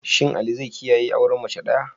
Shin Ali zai kiyaye auren mace daya?